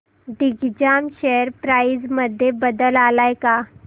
Digjam share price मध्ये बदल आलाय का